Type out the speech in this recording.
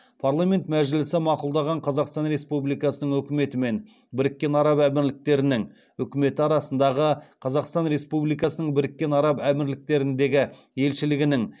парламент мәжілісі мақұлдаған қазақстан республикасының үкіметі мен біріккен араб әмірліктерінің үкіметі арасындағы қазақстан республикасының біріккен араб әмірліктеріндегі елшілігінің